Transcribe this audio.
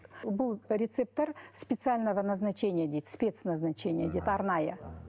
бұл рецепттер специального назначения дейді спец назначения дейді арнайы